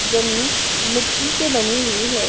जमीन मिट्टी से बनी हुई है।